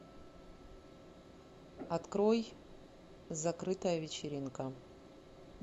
открой закрытая вечеринка